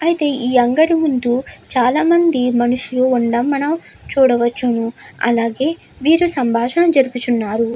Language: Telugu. అయితే ఈ అంగడి ముందు చాలా మంది మనుషులు ఉన్నది మనం చూడవచ్చును అలాగే వీరి సంబాషణ జరుగుతున్నది.